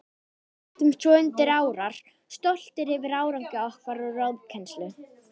Við settumst svo undir árar, stoltir yfir árangri okkar og ráðkænsku.